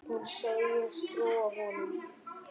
Hún segist trúa honum.